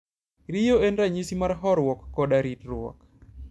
Riyo en ranyisi mar horuok koda ritruok.